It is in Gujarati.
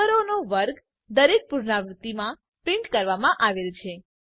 નંબરનો વર્ગ દરેક પુનરાવૃત્તિ માં પ્રિન્ટ કરવામાં આવેલ છે